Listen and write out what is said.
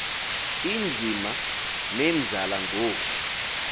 inzima nenzala ngoo